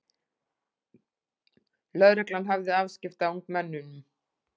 Lögregla hafði afskipti af ungmennum